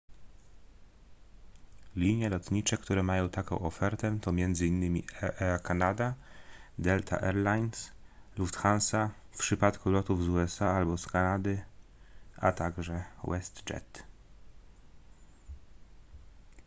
linie lotnicze które mają taką ofertę to m.in air canada delta air lines lufthansa w przypadku lotów z usa albo z kanady a także westjet